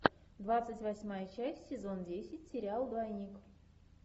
двадцать восьмая часть сезон десять сериал двойник